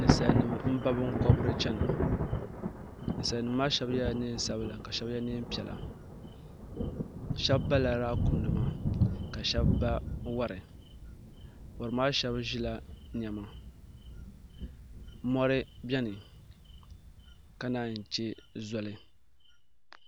nisalinim n ba bɛn kuniri n chɛna nisalinim maa shɛbi yɛla nɛnsabila ka shɛbi yɛ nɛɛpiɛla shɛbi bala laakum nima ka shɛbi ba wari wari maa shɛbi ʒɛla nɛɛma mori bɛni ka yi chɛ zoli